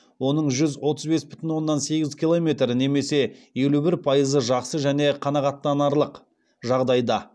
оның жүз отыз бес бүтін оннан сегіз километрі немесе елу бір пайызы жақсы және қанағаттанарлық жағдайда